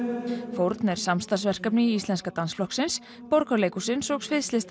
fórn samstarfsverkefni Íslenska dansflokksins Borgarleikhússins og